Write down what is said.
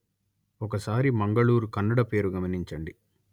ఒకసారి మంగళూరు కన్నడ పేరు గమనించండి